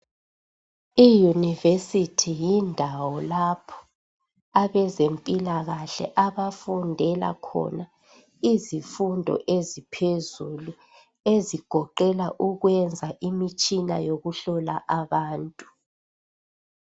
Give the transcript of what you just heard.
Iyunivesithi yindawo lapho abezemphilakahle abafundela khona izifundo eziphezulu ezigoqela ukuyenza imitshina yokuhlola abantu.